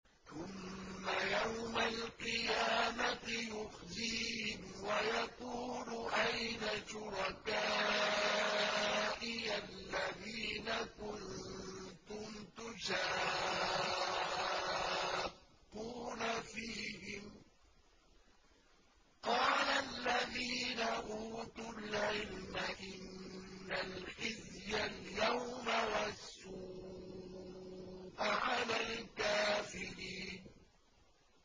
ثُمَّ يَوْمَ الْقِيَامَةِ يُخْزِيهِمْ وَيَقُولُ أَيْنَ شُرَكَائِيَ الَّذِينَ كُنتُمْ تُشَاقُّونَ فِيهِمْ ۚ قَالَ الَّذِينَ أُوتُوا الْعِلْمَ إِنَّ الْخِزْيَ الْيَوْمَ وَالسُّوءَ عَلَى الْكَافِرِينَ